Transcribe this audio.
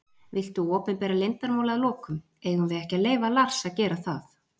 Viltu opinbera leyndarmál að lokum: Eigum við ekki að leyfa Lars að gera það?